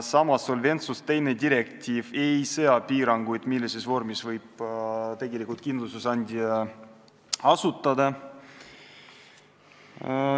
Samas ei sea direktiiv Solventsus II piiranguid, millises vormis võib tegelikult kindlustusandja asutada.